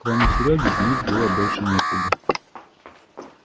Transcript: кроме серёги звонить было больше некуда